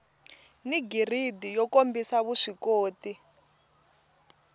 ni giridi yo kombisa vuswikoti